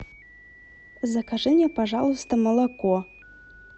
закажи мне пожалуйста молоко